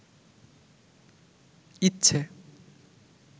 ইচ্ছে